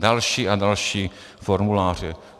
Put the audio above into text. Další a další formuláře.